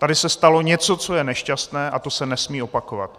Tady se stalo něco, co je nešťastné, a to se nesmí opakovat.